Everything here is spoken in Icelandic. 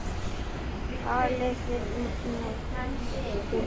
Talið þið norsku.